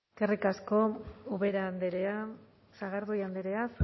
eskerrik asko ubera andrea sagardui andrea